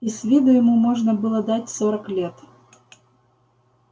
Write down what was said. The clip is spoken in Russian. и с виду ему можно было дать сорок лет